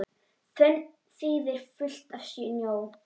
Fönn þýðir fullt af snjó.